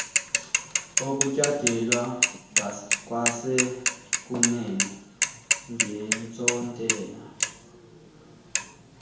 ukutyandelwa kwasekunene ngentsontela